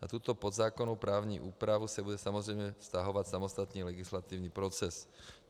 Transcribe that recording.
Na tuto podzákonnou právní úpravu se bude samozřejmě vztahovat samostatný legislativní proces.